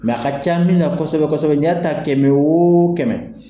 Mɛa ka ca mina na kosɛbɛ kosɛbɛ , n'i y'a ta kɛmɛ o kɛmɛ.